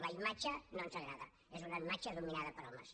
la imatge no ens agrada és una imatge dominada per homes